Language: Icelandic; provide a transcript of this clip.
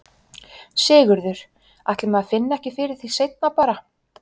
Sigurður: Ætli maður finni ekki fyrir því seinna bara?